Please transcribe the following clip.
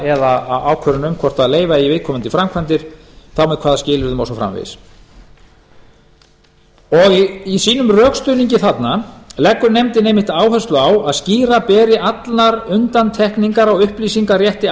eða ákvörðun um hvort leyfa eigi viðkomandi framkvæmdir þá með hvaða skilyrðum og svo framvegis og í sínum rökstuðningi þarna leggur nefndin einmitt áherslu á að skýra beri allar undantekningar á upplýsingarétti